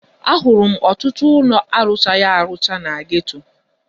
Ahụrụ m ọtụtụ ụlọ arụchaghi arụcha na geto.